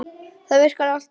Það virkar alltaf.